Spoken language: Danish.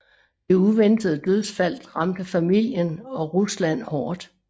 Det uventede dødsfald ramte familien og Rusland hårdt